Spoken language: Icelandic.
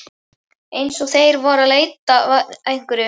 Eins og þeir væru að leita að einhverju.